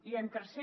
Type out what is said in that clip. i en tercer